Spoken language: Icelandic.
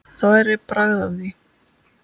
Það væri bragð af því!